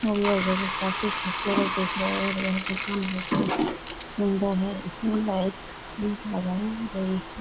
और यह जगह काफी खूबसूरत दिख रहे है और यह दुकान भी सुन्दर है इसमें लाइट भी लगाए गए है।